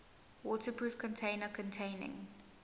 waterproof container containing